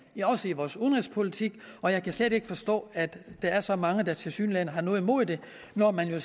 også i vores udenrigspolitik og jeg kan slet ikke forstå at der er så mange der tilsyneladende har noget imod det når man jo